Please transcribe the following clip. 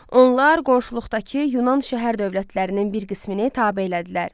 Onlar qonşuluqdakı Yunan şəhər dövlətlərinin bir qismini tabe elədilər.